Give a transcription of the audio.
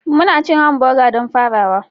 Muna cin hamburger don farawa